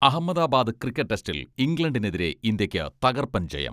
Ahmedabad cricket ടെസ്റ്റിൽ ഇംഗ്ലണ്ടിനെതിരെ ഇന്ത്യക്ക് തകർപ്പൻ ജയം.